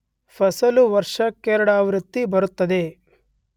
ಫಸಲು ವರ್ಷಕ್ಕೆರಡಾವೃತ್ತಿ ಬರುತ್ತದೆ.